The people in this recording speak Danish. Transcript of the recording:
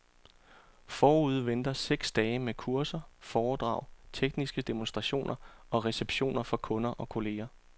Forude venter seks dage med kurser, foredrag, tekniske demonstrationer og receptioner for kunder og kolleger.